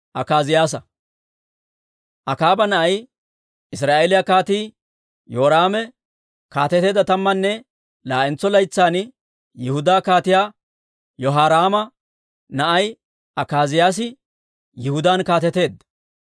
Akaaba na'ay, Israa'eeliyaa Kaatii Yoraame kaateteedda tammanne laa'entso laytsan, Yihudaa Kaatiyaa Yehoraama na'ay Akaaziyaasi Yihudaan kaateteedda.